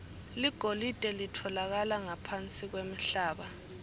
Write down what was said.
ligolide litfolakala ngaphansi kwemhlaba